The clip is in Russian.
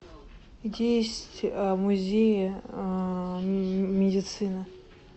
где есть музей медицины